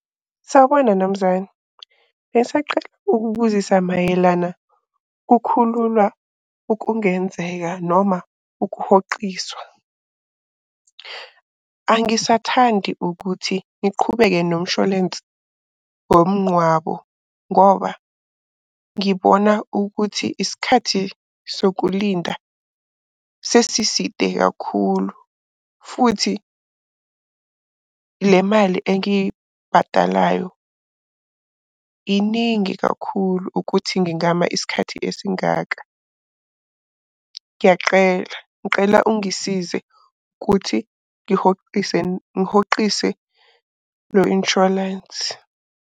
Sawubona, nomzane. Bengisacela ukubuzisa mayelana kukhululwa okungenzeka noma ukuhoxiswa. Angisathandi ukuthi ngiqhubeke nomsholensi womnqwabo ngoba ngibona ukuthi isikhathi sokulinda sesiside kakhulu, futhi le mali engiyibhadalayo iningi kakhulu ukuthi ngingama isikhathi esingaka. Ngiyaqela ngiqela ungisize ukuthi ngihoxise, ngihoqise lo inshwalensi.